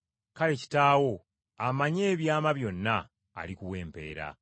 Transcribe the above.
Kale Kitaawo amanyi ebyama byonna alikuwa empeera.”